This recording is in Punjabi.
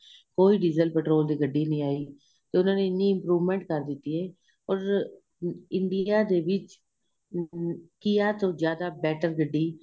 ਕੋਈ diesel petrol ਦੀ ਗੱਡੀ ਨਹੀਂ ਆਈ ਤੇ ਉਹਨਾ ਨੇ ਐਨੀ improvement ਕਰ ਦਿੱਤੀ ਏ ਔਰ India ਦੇ ਵਿੱਚ KIA ਤੋ ਜਿਆਦਾ better ਗੱਡੀ